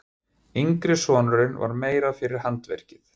Yngri sonurinn var meira fyrir handverkið.